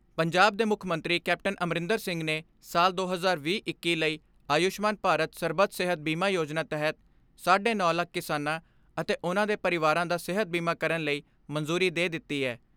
ਪੰਜਾਬ ਦੇ ਮੁੱਖ ਮੰਤਰੀ ਕੈਪਟਨ ਅਮਰਿੰਦਰ ਸਿੰਘ ਨੇ ਸਾਲ ਦੋ ਹਜ਼ਾਰ ਵੀਹ ਇੱਕੀ ਲਈ ਆਯੂਸ਼ਮਾਨ ਭਾਰਤ ਸਰਬੱਤ ਸਿਹਤ ਬੀਮਾ ਯੋਜਨਾ ਤਹਿਤ ਸਾਢੇ ਨੌ ਲੱਖ ਕਿਸਾਨਾਂ ਅਤੇ ਉਨ੍ਹਾਂ ਦੇ ਪਰਿਵਾਰਾਂ ਦਾ ਸਿਹਤ ਬੀਮਾ ਕਰਨ ਲਈ ਮਨਜ਼ੂਰੀ ਦੇ ਦਿੱਤੀ ਐ।